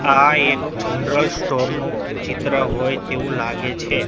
આ એક general store નુ ચિત્ર હોય તેવુ લાગે છે.